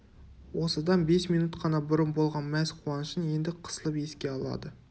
осыдан бес минут қана бұрын болған мәз қуанышын енді қысылып еске алды